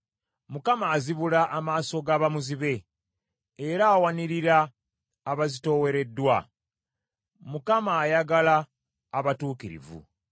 Mukama azibula amaaso ga bamuzibe, era awanirira abazitoowereddwa. Mukama ayagala abatuukirivu.